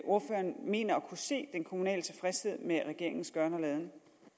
ordføreren mener at kunne se den kommunale tilfredshed med regeringens gøren og laden